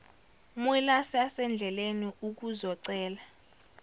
mwelase asendleleni ukuzocela